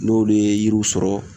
N'olu ye yiriw sɔrɔ